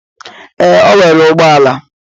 Ee, o nwere ụgbọ ala.